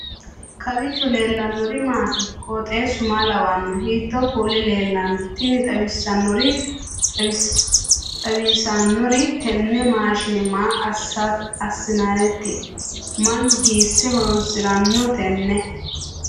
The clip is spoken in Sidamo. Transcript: kowiicho leellannori maati ? qooxeessu maa lawaanno ? hiitoo kuuli leellanno ? tini xawissannori tini maashine maa assinannite mannu hiisse horoonsiranno tenne